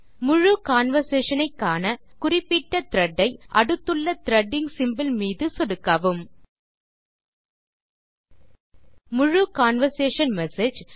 முழு கன்வர்சேஷன் ஐ காண குறிப்பிட்ட த்ரெட் ஐ அடுத்துள்ள த்ரெடிங் சிம்போல் மீது சொடுக்கவும் முழு கன்வர்சேஷன் மெசேஜ்